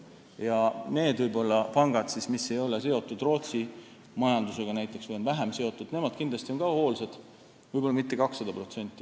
Ja need pangad, mis ei ole seotud näiteks Rootsi majandusega või on vähem seotud, on kindlasti ka hoolsad, võib-olla mitte kakssada protsenti.